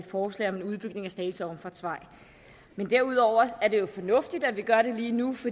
forslag om en udbygning af slagelse omfartsvej derudover er det jo fornuftigt at vi gør det lige nu